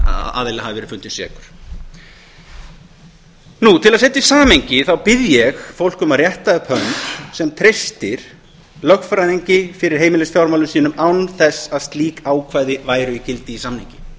aðili hafi verið fundinn sekur til að setja í samhengi bið ég fólk um að rétta upp hönd sem treystir lögfræðingi fyrir heimilisfjármálum sínum án þess að slík ákvæði væru í gildi í samningi